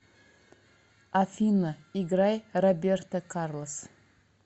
афина играй роберто карлос